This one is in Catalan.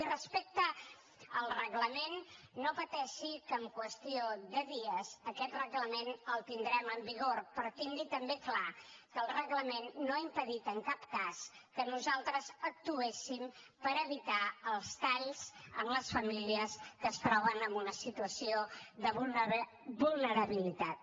i respecte al reglament no pateixi que en qüestió de dies aquest reglament el tindrem en vigor però tingui també clar que el reglament no ha impedit en cap cas que nosaltres actuéssim per evitar els talls en les famílies que es troben en una situació de vulnerabilitat